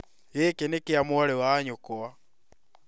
Gĩkĩ nĩ kĩa mwarĩ wa nyũkwa